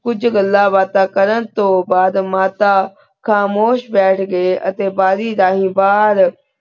ਕੁਛ ਘਾਲਾਂ ਬਾਤਾਂ ਕਰਨ ਤੂੰ ਬਾਦ ਮਾਤਾ ਖਾਮੁਸ਼ ਭਠ ਘੀ ਬਢ਼ੀ ਠਾਨੀ ਬਹੇਰ